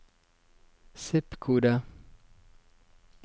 zip-kode